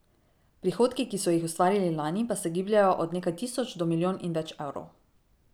Prihodki, ki so jih ustvarili lani pa se gibljejo od nekaj tisoč do milijon in več evrov.